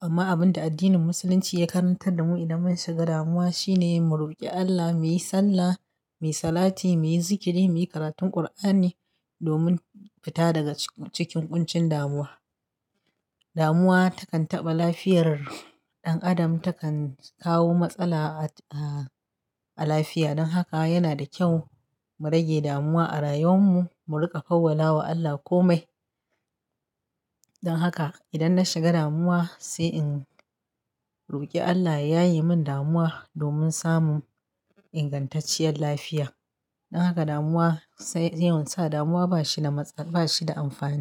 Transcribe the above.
Amma abin da addinin Musulunci ya karantar da mu idan mun shiga damuwa shine, mu roƙi Allah, mu yi sallah, mi salati, mu yi zikiri, mu yi karatun Ƙur'ani, domin fita daga cikin ƙuncin damuwa. Damuwa takan taɓa lafiyar ɗan adam, takan kawo matsala a, a lafiya. Dan haka yana da kyau, mu rage damuwa a rayuwar mu, mu riƙa fawwala wa Allah komai. Dan haka idan na shiga damuwa, sai in roƙi Allah ya yaye mun damuwa, domin samun ingantacciyar lafiya. Dan haka damuwa, sai, yawan sa damuwa ba shi da matsa, ba shi da amfani.